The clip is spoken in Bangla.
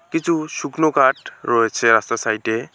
কিচু শুকনো কাঠ রয়েছে রাস্তার সাইড -এ।